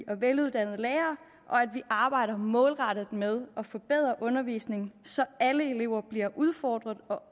og veluddannede lærere og at vi arbejder målrettet med at forbedre undervisningen så alle elever bliver udfordret og